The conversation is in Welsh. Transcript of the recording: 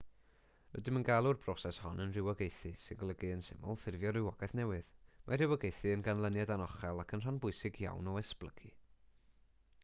rydym yn galw'r broses hon yn rhywogaethu sy'n golygu yn syml ffurfio rhywogaeth newydd mae rhywogaethu yn ganlyniad anochel ac yn rhan bwysig iawn o esblygu